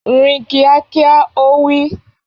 Rìn kíákíá! Ó wí.